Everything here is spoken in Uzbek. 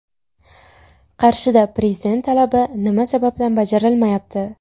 Qarshida Prezident talabi nima sababdan bajarilmayapti?.